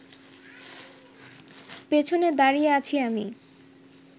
পেছনে দাঁড়িয়ে আছি আমি